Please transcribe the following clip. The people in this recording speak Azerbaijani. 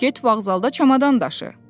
Get vağzalda çamadan daşı.